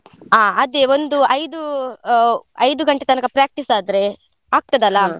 ಹಾ ಅದೇ ಒಂದು ಐದು ಆ ಐದು ಗಂಟೆ ತನಕ practice ಆದ್ರೆ .